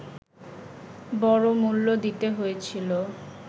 বড় মূল্য দিতে হয়েছিল